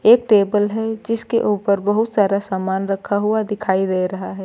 एक टेबल है जिसके ऊपर बहुत सारा सामान रखा हुआ दिखाई दे रहा है।